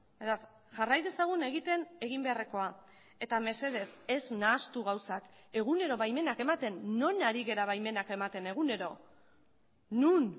beraz jarrai dezagun egiten egin beharrekoa eta mesedez ez nahastu gauzak egunero baimenak ematen non ari gara baimenak ematen egunero non